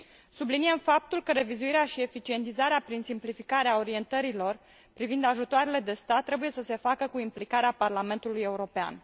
Subliniem faptul că revizuirea și eficientizarea prin simplificare a orientărilor privind ajutoarelor de stat trebuie să se facă cu implicarea Parlamentului European.